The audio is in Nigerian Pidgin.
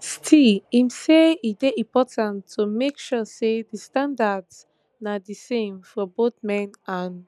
still im say e dey important to make sure say di standards na di same for both men and